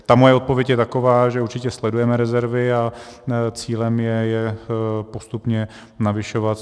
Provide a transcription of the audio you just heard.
Takže moje odpověď je taková, že určitě sledujeme rezervy a cílem je je postupně navyšovat.